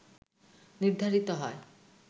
নির্ধারিত হয়